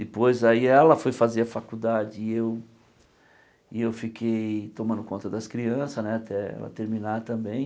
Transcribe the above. Depois, aí ela foi fazer a faculdade e eu e eu fiquei tomando conta das crianças né até ela terminar também.